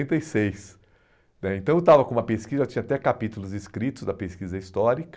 e seis, né. Então eu estava com uma pesquisa, eu tinha até capítulos escritos da pesquisa histórica,